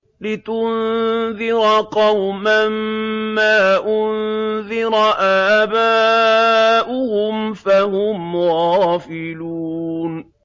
لِتُنذِرَ قَوْمًا مَّا أُنذِرَ آبَاؤُهُمْ فَهُمْ غَافِلُونَ